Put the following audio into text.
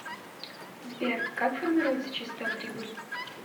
сбер как формируется чистая прибыль